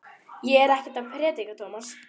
Ég er ekkert að predika, Tómas.